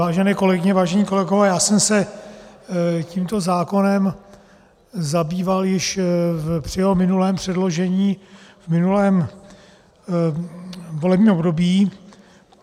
Vážené kolegyně, vážení kolegové, já jsem se tímto zákonem zabýval již při jeho minulém předložení v minulém volebním období.